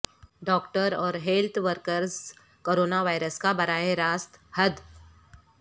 doctor اور health workers corona virus کا براہ راست ہدف